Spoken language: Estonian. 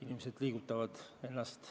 Inimesed liigutavad ennast.